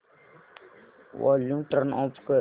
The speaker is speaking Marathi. वॉल्यूम टर्न ऑफ कर